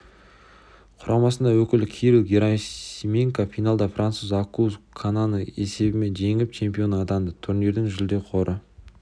құрамасының өкілі кирилл герасименко финалда француз аккуз кананы есебімен жеңіп чемпион атанды турнирдің жүлде қоры